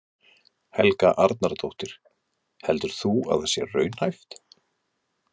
Helga Arnardóttir: Heldur þú að það sé raunhæft?